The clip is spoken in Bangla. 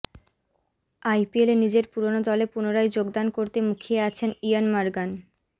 আইপিএলে নিজের পুরোনো দলে পুনরায় যোগদান করতে মুখিয়ে আছেন ইয়ন মর্গ্যান